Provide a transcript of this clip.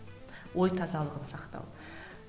ой тазалығын сақтау